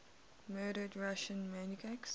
murdered russian monarchs